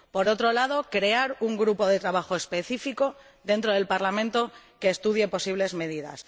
por otro, crear un grupo de trabajo específico dentro del Parlamento que estudie posibles medidas